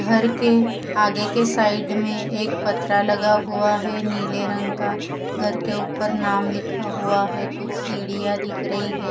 घर के आगे के साइड में एक पथरा लगा हुआ है नीले रंग का। घर के ऊपर नाम लिखा हुआ है। कुछ सीढ़ियां दिख रही है।